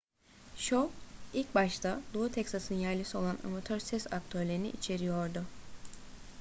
şov ilk başta doğu teksas'ın yerlisi olan amatör ses aktörlerini içeriyordu